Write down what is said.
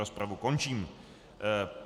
Rozpravu končím.